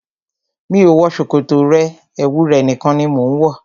Mi ò wọ ṣòkòtò rẹ, ẹwu rẹ̀ nìkan ni mo ń wọ.